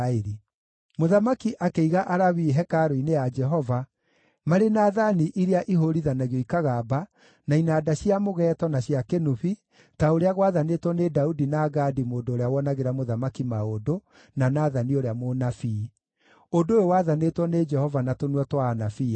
Mũthamaki akĩiga Alawii hekarũ-inĩ ya Jehova marĩ na thaani iria ihũũrithanagio ikagamba, na inanda cia mũgeeto na cia kĩnũbi ta ũrĩa gwaathanĩtwo nĩ Daudi na Gadi mũndũ ũrĩa wonagĩra mũthamaki maũndũ, na Nathani ũrĩa mũnabii; ũndũ ũyũ waathanĩtwo nĩ Jehova na tũnua twa anabii ake.